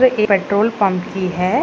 Petrol pump की है।